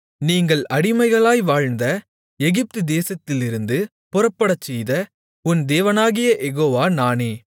நீங்கள் அடிமைகளாய் வாழ்ந்த எகிப்து தேசத்திலிருந்து புறப்படச்செய்த உன் தேவனாகிய யெகோவா நானே